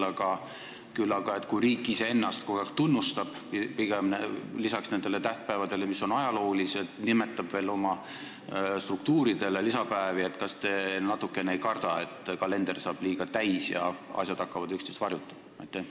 Aga kui riik püüab lisaks nendele tähtpäevadele, mis on ajaloolised, veel iseennast tunnustada, lisades riiklikke tähtpäevi, kas te ei karda, et kalender saab liiga täis ja tähistatavad päevad hakkavad üksteist varjutama?